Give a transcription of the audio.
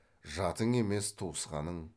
жатың емес туысқаның